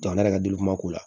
Jamana yɛrɛ ka delikuma ko la